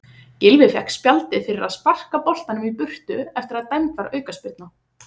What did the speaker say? Gylfi fékk spjaldið fyrir að sparka boltanum í burtu eftir að dæmd var aukaspyrna.